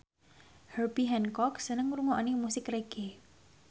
Herbie Hancock seneng ngrungokne musik reggae